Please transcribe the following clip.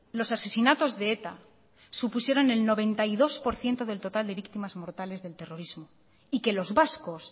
los asesinatos de eta supusieron el noventa y dos por ciento de total de víctimas mortales del terrorismo y que los vascos